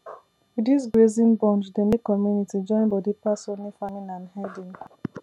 this grazing bond dey make community join body pass only farming and herding